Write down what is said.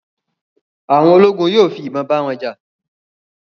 àwọn ologun yóò fi ibon ba wọn ja